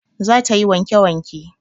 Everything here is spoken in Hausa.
Za ta yi wanke wanke